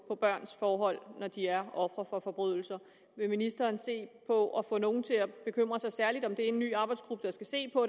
på børns forhold når de er ofre for forbrydelser vil ministeren se på at få nogle til at bekymre sig særligt om det i en ny arbejdsgruppe der skal se på